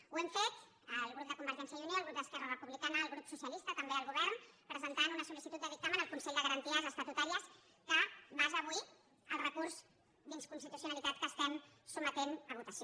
ho hem fet el grup de convergència i unió el grup d’esquerra republicana el grup socialista també el govern presentant una sol·licitud de dictamen al consell de garanties estatutàries que basa avui el recurs d’inconstitucionalitat que estem sotmetent a votació